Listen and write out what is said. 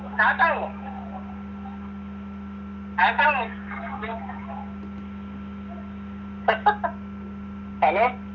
സ്റ്റാർട്ടാകുമോ? Start ആകുമോ hello